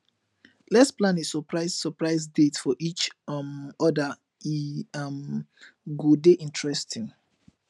lets plan a surprise surprise date for each um other e um go dey interesting